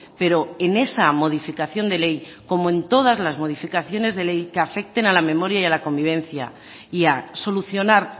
pero en esa modificación de ley como en todas las modificaciones de ley que afecten a la memoria y a la convivencia y a solucionar